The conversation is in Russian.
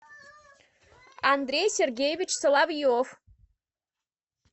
андрей сергеевич соловьев